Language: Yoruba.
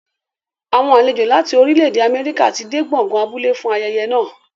Àwọn àlejò láti orílẹ̀-èdè Amẹ́ríkà ti dé gbọ̀ngàn abúlé fún ayẹyẹ náà.